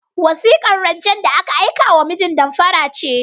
Wasikar rancen da aka aikewa mijin damfara ce.